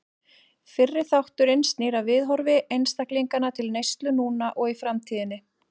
Fyrri þátturinn snýr að viðhorfi einstaklinganna til neyslu núna og í framtíðinni.